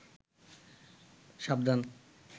সাবধান